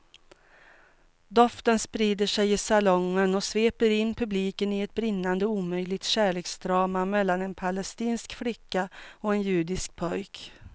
Doften sprider sig i salongen och sveper in publiken i ett brinnande omöjligt kärleksdrama mellan en palestinsk flicka och en judisk pojke.